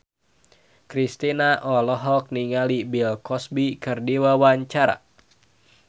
Kristina olohok ningali Bill Cosby keur diwawancara